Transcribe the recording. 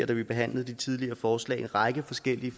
da vi behandlede de tidligere forslag en række forskellige